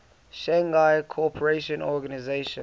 shanghai cooperation organization